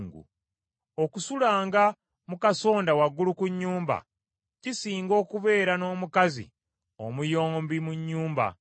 Okusulanga mu kasonda waggulu ku nnyumba, kisinga okubeera n’omukazi omuyombi mu nnyumba.